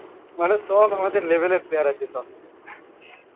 মানুষ সব আমাদের level এর player আছে সব